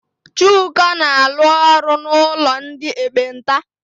Chuka na-alụ ọrụ n'ụlọ ndị ekpenta.